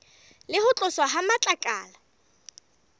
le ho tloswa ha matlakala